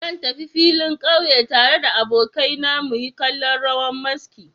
Zan tafi filin ƙauye tare da abokaina muyi kallon rawan maski.